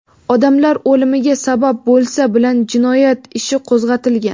odamlar o‘limiga sabab bo‘lsa) bilan jinoyat ishi qo‘zg‘atilgan.